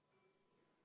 Aitäh!